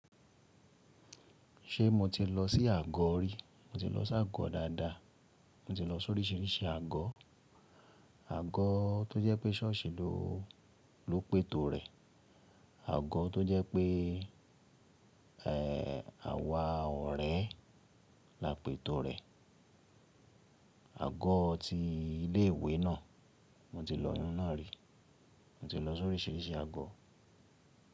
Ṣé mo ti lọ sí àgọ́ rí? Mo ti lọ sí àgọ́ dáadáa. Mo ti lọ sóríṣiríṣi àgọ́. Àgọ́ tó jẹ́ pé ṣọ́ọ̀ṣì ló, ló pètò rẹ̀, àgọ́ tó jẹ́ pé,, àwa ọ̀rẹ́ la pètò rẹ̀, àgọ́ ti ilé ìwé náà, mo ti lọ iyun náà rí. Mo ti lọ sóríṣiríṣi àgọ́.